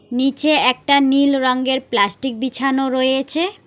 নীচে একটা নীল রঙ্গের প্লাস্টিক বিছানা রয়েছে।